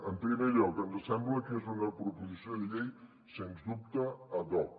en primer lloc ens sembla que és una proposició de llei sens dubte ad hoc